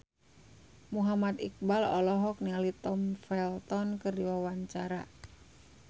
Muhammad Iqbal olohok ningali Tom Felton keur diwawancara